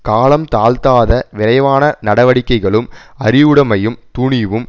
காலம் தாழ்த்தாத விரைவான நடவடிக்கைகளும் அறிவுடைமையும் துணிவும்